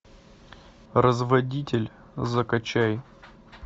разводитель закачай